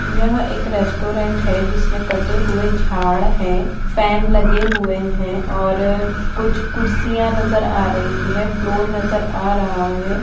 यह एक रेस्टोरेंट है जिसमे कटे हुए झाड़ है फैन लगे हुए है और कुछ कुर्सियां नजर आ रही है फ्लोर नजर आ रहा है।